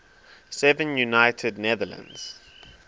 seven united netherlands